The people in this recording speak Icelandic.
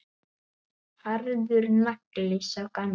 Harður nagli, sá gamli.